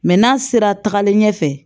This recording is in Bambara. Mɛ n'a sera tagali ɲɛfɛ